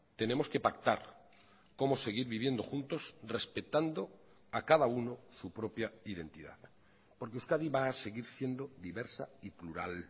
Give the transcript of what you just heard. tenemos que pactar cómo seguir viviendo juntos respetando a cada uno su propia identidad porque euskadi va a seguir siendo diversa y plural